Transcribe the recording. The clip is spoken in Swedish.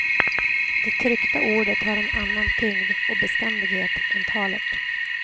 Det tryckta ordet har en annan tyngd och beständighet än talet.